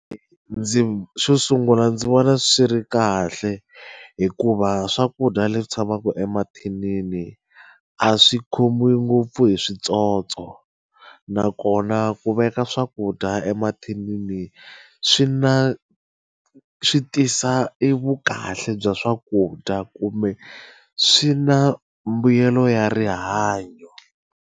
Ndzi xo sungula ndzi vona swi ri kahle hikuva swakudya leswi tshamaka emathinini a swi khomiwi ngopfu hi switsotso nakona ku veka swakudya emathinini swi na swi tisa e vukahle bya swakudya kumbe swi na mbuyelo ya rihanyo.